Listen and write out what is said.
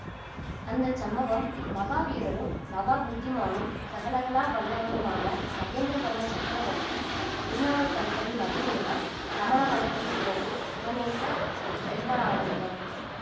அந்த சம்பவம் மகா வீரரும் மகா புத்திமானும் சகலகலா வல்லவருமான மகேந்திரவர்ம சக்கரவர்த்தி திருநாவுக்கரசரின் மகிமையினால் சமண மதத்தை துறந்து சிவநேசச் செல்வரானதுதான்